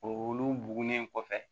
Olu bugunen kɔfɛ